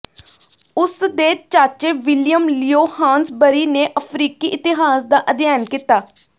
ਉਸ ਦੇ ਚਾਚੇ ਵਿਲੀਅਮ ਲੀਓ ਹਾਨਸਬਰਿ ਨੇ ਅਫ਼ਰੀਕੀ ਇਤਿਹਾਸ ਦਾ ਅਧਿਐਨ ਕੀਤਾ